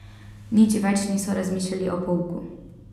Nič več niso razmišljali o pouku.